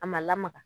A ma lamaga